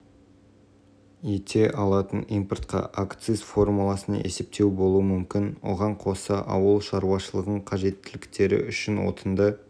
мұнай өнімдерінің бақыланбайтын ағымы үшін ерекше варианттардың бірі екі елдің экономикалық көрсеткіштерінің өзгерістеріне жылдам әрекет